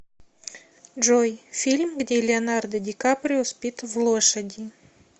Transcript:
джой фильм где леонардо дикаприо спит в лошади